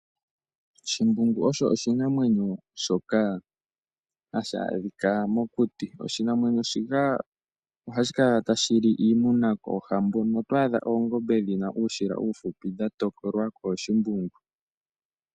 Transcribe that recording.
Shimbungu osho oshinamwenyo shoka hashi adhikwa mokuti, oshinamwenyo shika ohashi kala tashi li iimuna koohambo. Oto adha oongombe dhi na uushila uufupi dha tokolwa kOoshimbungu.